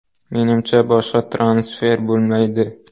Menimcha, boshqa transfer bo‘lmaydi.